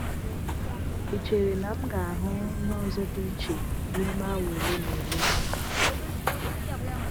Ị chere na m ga-ahụ ihe n’ụzọ dị iche n’ime awa ole na ole?